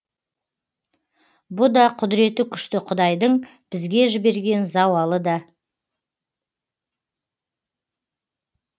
бұ да құдіреті күшті құдайдың бізге жіберген зауалы да